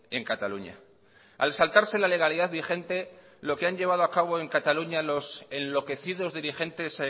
en cataluña al saltarse la legalidad vigente lo que han llevado a cabo en cataluña los enloquecidos dirigentes